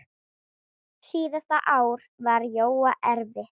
Síðasta ár var Jóa erfitt.